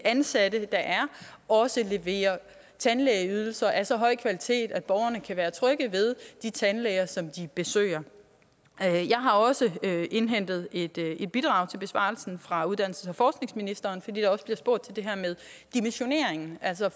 ansatte der er også leverer tandlægeydelser af så høj kvalitet at borgerne kan være trygge ved de tandlæger som de besøger jeg har også indhentet et bidrag til besvarelsen fra uddannelses og forskningsministeren fordi der også bliver spurgt til det her med dimensioneringen altså